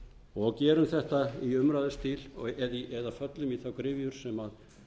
og gerum þetta í umræðustíl eða föllum í þá gryfjur sem